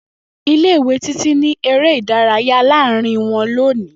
Ile-iwe Titi n ni ere idaraya laarin ile wọn loni.